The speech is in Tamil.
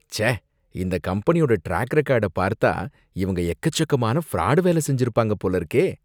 ச்சே! இந்த கம்பெனியோட ட்ராக் ரெக்கார்ட்ட பார்த்தா இவங்க எக்கச்சக்கமான ஃப்ராடு வேலை செஞ்சிருப்பாங்க போலருக்கே.